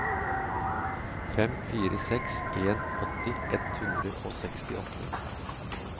fem fire seks en åtti ett hundre og sekstiåtte